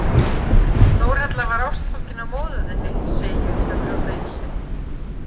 Þórhalla var ástfangin af móður þinni, segi ég til að brjóta ísinn.